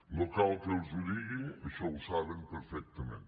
no cal que els ho digui això ho saben perfectament